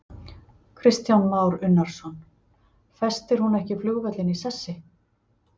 Kristján Már Unnarsson: Festir hún ekki flugvöllinn í sessi?